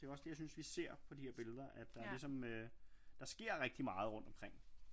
Det er jo også det jeg synes vi ser på de her billeder at der ligesom øh der sker rigtig meget rundt omkring